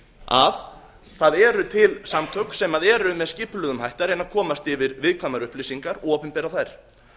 að það eru til samtök sem eru með skipulögðum hætti að reyna að komast yfir viðkvæmar upplýsingar og opinbera þær